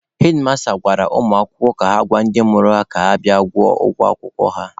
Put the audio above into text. Hedmasta gwara ụmụ akwụkwọ ka ha gwa ndị mụrụ ha ka ha bịa kwụọ ụgwọ akwụkwọ ha.